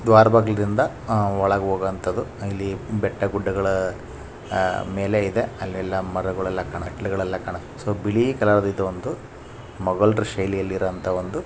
ದ್ವಾರಬಾಗಲಿಂದ ಅಹ್ ಒಳಗೆ ಹೋಗುವಂತದ್ದು ಇಲ್ಲಿ ಬೆಟ್ಟ ಗುಡ್ಡಗಳ ಅಹ್ ಮೇಲೆ ಇದೆ. ಅಲ್ಲೆಲ್ಲಾ ಮರಗೋಲ್ಲೆಲ್ಲ ಕಾನಾ ಮೆಟ್ಟಲಾಗಲ್ಲೆಲ್ಲ ಕಾನಾ. ಸೊ ಬೀಳಿ ಕಲರ್ ದು ಇದು ಒಂದು ಮೊಘುಲ್ರ ಶೈಲಿ ಅಲ್ಲಿ ಇರವಂತೂ.